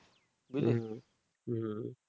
হু হু